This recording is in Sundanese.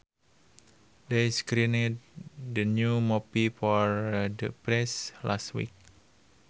They screened the new movie for the press last week